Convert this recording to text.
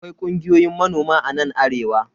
Akwai kungiyoyin manoma a nan arewa.